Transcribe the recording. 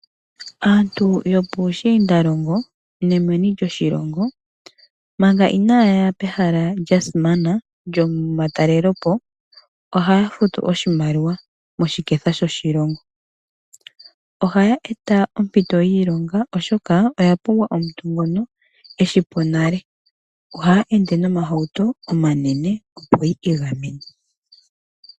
Aantu yopiishiindalongo nomeni lyoshilongo manga inaya ya pehala lya simana lyomatalelepo ohaya futu oshimaliwa moshiketha shoshilongo. Ohaya eta ompito yiilonga, oshoka oya pumbwa omuntu ngoka e shi po nale. Ohaya ende nomahauto omanene, opo yi igamena.